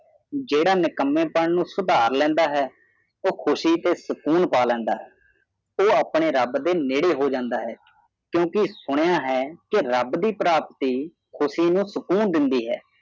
ਜੇਡਾ ਨਿੱਕਮੇਪਣ ਨੂੰ ਸੁਧਰ ਲਿਆਉਂਦਾ ਹੈ ਓਹ ਕੁਸ਼ੀ ਤੇ ਸਕੂਨ ਸਾ ਲੇਹੰਦਾ ਹੈ ਓਹ ਆਪਨੇ ਰਾਬ ਦੇ ਤੇੜੇ ਹੋ ਜਾੰਦਾ ਹੈ ਕਿਉਕੀ ਸੁਨਿਆ ਹੈ ਕੀ ਰਬ ਦੀ ਪ੍ਰਾਪਤੀ ਖੁਸ਼ੀ ਨੂੰ ਸੁਕੂੰ ਦੀਦੀ ਹੈ